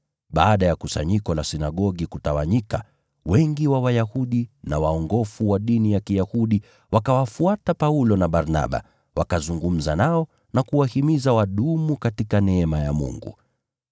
Baada ya kusanyiko la Sinagogi kutawanyika, wengi wa Wayahudi na waongofu wa dini ya Kiyahudi wakawafuata Paulo na Barnaba, wakazungumza nao na kuwahimiza wadumu katika neema ya Mungu.